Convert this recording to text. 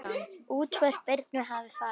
Útför Birnu hefur farið fram.